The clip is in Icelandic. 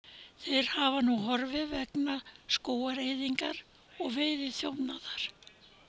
Þeir hafa nú horfið vegna skógaeyðingar og veiðiþjófnaðar.